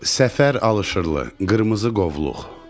Səfər alışırılı qırmızı qovluq.